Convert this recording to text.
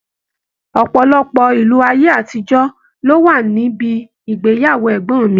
Ọpọlọpọ ìlù aye-atijo ló wà níbí agbeyewo ẹgbọn mi.